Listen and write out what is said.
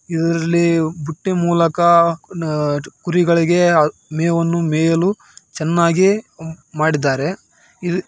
ಇದ್ರಲ್ಲಿ ಬುಟ್ಟಿ ಮೂಲಕ ಅಹ್ ಕುರಿಗಳಿಗೆ ಮೇವನ್ನು ಮೇಯಲು ಚೆನ್ನಾಗಿ ಮಾಡಿದ್ದಾರೆ.